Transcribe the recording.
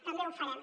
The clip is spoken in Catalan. també ho farem